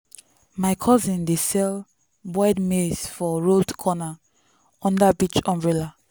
my cousin dey sell boiled maize for road corner under beach umbrella.